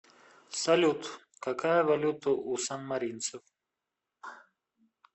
салют какая валюта у санмаринцев